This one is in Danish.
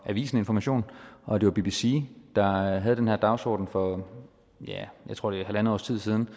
avisen information og bbc der havde den her dagsorden for jeg tror det er halvandet års tid siden